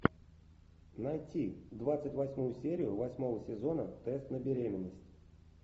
найти двадцать восьмую серию восьмого сезона тест на беременность